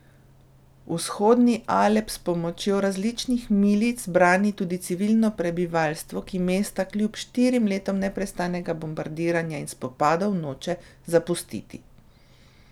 Vzhodni Alep s pomočjo različnih milic brani tudi civilno prebivalstvo, ki mesta kljub štirim letom neprestanega bombardiranja in spopadov noče zapustiti.